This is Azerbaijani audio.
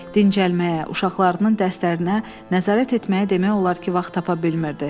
Dincəlməyə, uşaqlarının dərslərinə nəzarət etməyə demək olar ki, vaxt tapa bilmirdi.